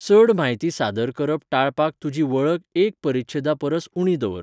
चड म्हायती सादर करप टाळपाक तुजी वळख एक परिच्छेदा परस उणी दवर.